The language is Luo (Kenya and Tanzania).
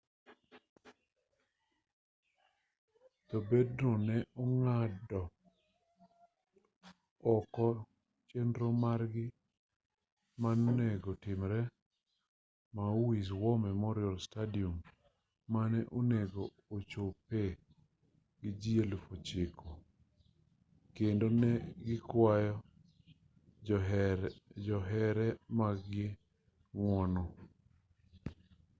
jo bendno ne ong'ado oko chenro margi manonego timre maui's war memorial stadium mane onego ochopee gi ji 9,000 kendo ne gikwayo johere mag-gi ng'uono